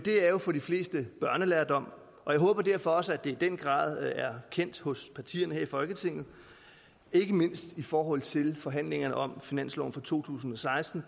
er jo for de fleste børnelærdom og jeg håber derfor også at i den grad er kendt hos partierne her i folketinget ikke mindst i forhold til forhandlingerne om finansloven for to tusind og seksten